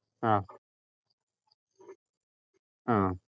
ആഹ് ആഹ്